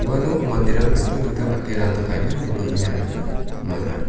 uano manderang dingtang dingtang dake ranta ka·enga ineba uina gita man·a.